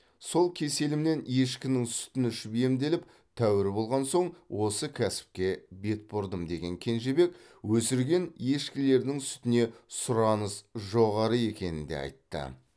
сол кеселімнен ешкінің сүтін ішіп емделіп тәуір болған соң осы кәсіпке бет бұрдым деген кенжебек өсірген ешкілерінің сүтіне сұраныс жоғары екенін де айтты